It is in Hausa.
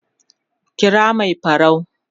kira Mai farau